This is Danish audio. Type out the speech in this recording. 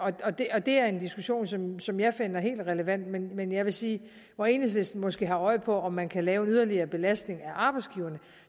og det og det er en diskussion som som jeg finder helt relevant men men jeg vil sige at hvor enhedslisten måske har øje for om man kan lave en yderligere belastning af arbejdsgiverne